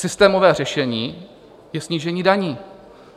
Systémové řešení je snížení daní.